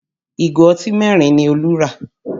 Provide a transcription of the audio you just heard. Ìgò ọtí mẹ́rin ni Olú rà